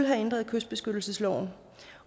have ændret kystbeskyttelsesloven